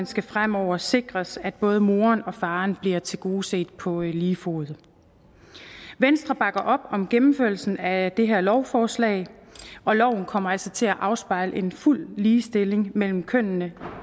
skal fremover sikres at både moren og faren bliver tilgodeset på lige fod venstre bakker op om gennemførelsen af det her lovforslag og loven kommer altså til at afspejle en fuld ligestilling mellem kønnene